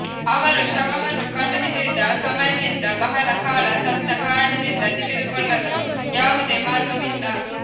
ಅವರು ಶವವನ್ನು ಕಂಡುಹಿಡಿದ ಸಮಯದಿಂದ ಬಹಳ ಕಾಲ ಸತ್ತ ಕಾರಣದಿಂದ ತಿಳಿದುಕೊಳ್ಳಲು ಯಾವುದೇ ಮಾರ್ಗವಿಲ್ಲ